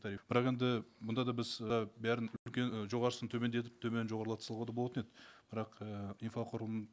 тариф бірақ енді бұнда да біз і барын жоғарысын төмендетіп төменін жоғарлата салуға да болатын еді бірақ і инфрақұрылым